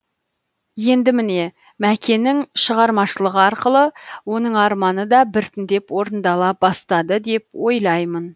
енді міне мәкенің шығармашылығы арқылы оның арманы да біртіндеп орындала бастады деп ойлаймын